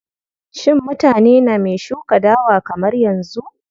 Shin mutane name shuka dawa kamar yanzu?